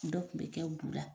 Dɔ kun bɛ kɛ bu la.